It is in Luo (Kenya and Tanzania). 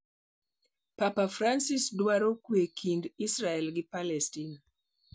Papa Francis: Dwaro kwee kind Israel gi Palestina